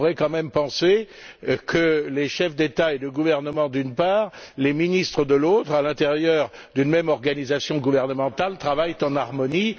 Nous pourrions quand même penser que les chefs d'État ou de gouvernement, d'une part, les ministres, de l'autre, à l'intérieur d'une même organisation gouvernementale travaillent en harmonie.